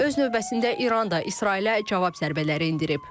Öz növbəsində İran da İsrailə cavab zərbələri endirib.